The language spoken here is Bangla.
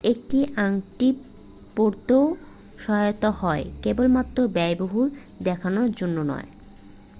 এটি আংটি পরতেও সহায়ক হয় কেবলমাত্র ব্যয়বহুল দেখানোর জন্য নয়।